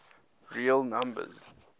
real numbers